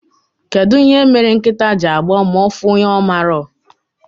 Kedụ ihe mere nkịta ji agbọ ma ọfụ onye ọmarọ?